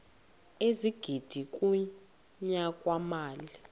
ezigidi kunyaka mali